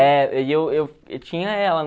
É, eu tinha ela